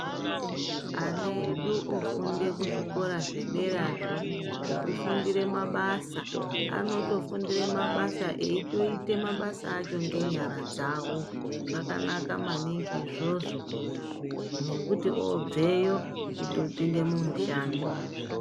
Ana edu ofunde kuzvikora zvederazvo zvekufundire mabasa anotofundire mabasa eitoita mabasa acho ngenyara dzavo zvakanaka maningi izvozvo nekuti otobveyo kutopinde mumushando.